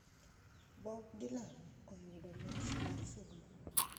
Bob Dylan oyudo mich mar somo